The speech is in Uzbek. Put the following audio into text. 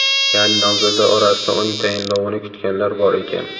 Ya’ni nomzodlar orasida uning tayinlovini kutganlar bor ekan.